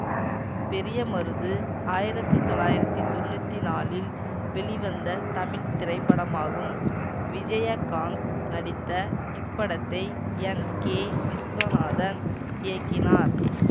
பெரிய மருது ஆயிரத்தி தொள்ளாயிரத்தி தொன்னூத்தி நாலில் வெளிவந்த தமிழ் திரைப்படமாகும் விஜயகாந்த் நடித்த இப்படத்தை என் கே விஸ்வநாதன் இயக்கினார்